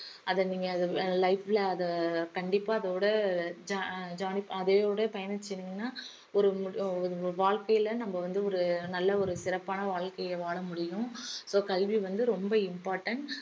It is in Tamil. அத நீங்க அத life ல அத கண்டிப்பா அதோட jo~ jo~ அதோட பயணிச்சீங்கனா ஒரு மு~ ஒரு வாழ்க்கையில நம்ம வந்து ஒரு நல்ல ஒரு சிறப்பான வாழ்க்கைய வாழ முடியும் so கல்வி வந்து ரொம்ப important